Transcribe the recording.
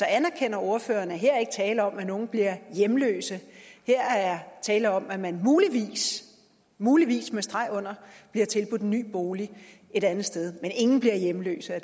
anerkender ordføreren at her er ikke tale om at nogen bliver hjemløse her er tale om at man muligvis muligvis med streg under bliver tilbudt en ny bolig et andet sted men ingen bliver hjemløse af